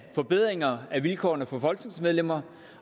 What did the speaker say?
forbedringer af vilkårene for folketingsmedlemmer